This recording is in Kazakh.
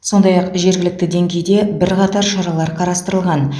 сондай ақ жергілікті деңгейде бірқатар шаралар қарастырылған